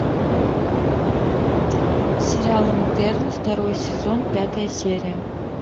сериал интерны второй сезон пятая серия